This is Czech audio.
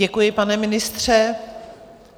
Děkuji, pane ministře.